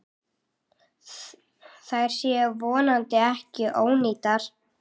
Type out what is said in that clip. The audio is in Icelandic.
Þær séu vonandi ekki ónýtar.